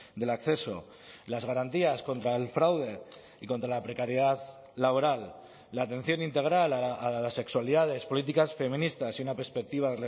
del acceso las garantías contra el fraude y contra la precariedad laboral la atención integral a las sexualidades políticas feministas y una perspectiva